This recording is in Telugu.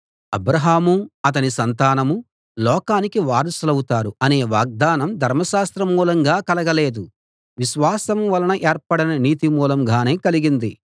అబ్రాహాము అతని సంతానం లోకానికి వారసులవుతారు అనే వాగ్దానం ధర్మశాస్త్ర మూలంగా కలగలేదు విశ్వాసం వలన ఏర్పడిన నీతి మూలంగానే కలిగింది